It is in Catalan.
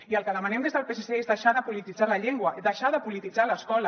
i el que demanem des del psc és deixar de polititzar la llengua deixar de polititzar l’escola